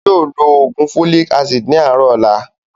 Yii o ló ló oògùn "Folic Acid" ni àárọ̀ ọ̀la